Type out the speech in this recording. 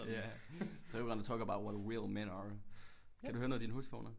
Ja today we're gonna talk about what real men are kan du høre noget i dine høretelefoner